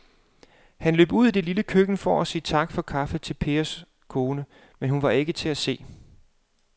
Han løb ud i det lille køkken for at sige tak for kaffe til Pers kone, men hun var ikke til at se.